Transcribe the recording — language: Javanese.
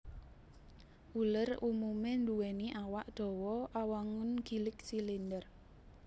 Uler umumé nduwèni awak dawa awangun gilig silinder